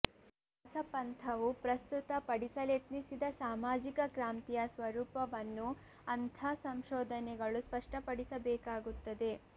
ದಾಸಪಂಥವು ಪ್ರಸ್ತುತ ಪಡಿಸಲೆತ್ನಿಸಿದ ಸಾಮಾಜಿಕ ಕ್ರಾಂತಿಯ ಸ್ವರೂಪವನ್ನೂ ಅಂಥ ಸಂಶೋಧನೆಗಳು ಸ್ಪಷ್ಟಪಡಿಸ ಬೇಕಾಗುತ್ತದೆ